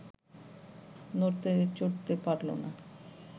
নড়তে চড়তে পারল না